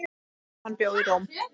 Hann bjó í Róm.